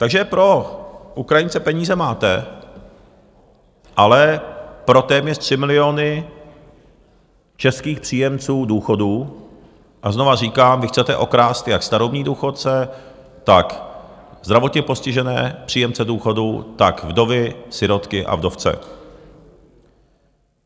Takže pro Ukrajince peníze máte, ale pro téměř 3 miliony českých příjemců důchodů - a znovu říkám, vy chcete okrást jak starobní důchodce, tak zdravotně postižené příjemce důchodů, tak vdovy, sirotky a vdovce.